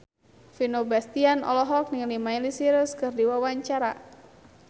Vino Bastian olohok ningali Miley Cyrus keur diwawancara